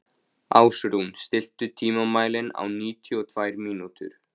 Ásrún, stilltu tímamælinn á níutíu og tvær mínútur.